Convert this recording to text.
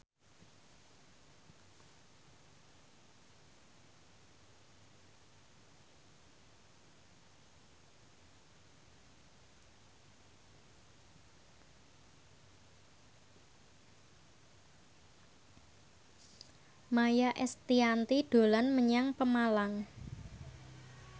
Maia Estianty dolan menyang Pemalang